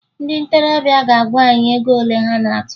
Ndị ntorobịa ga-agwa anyị ego ole a na-atụ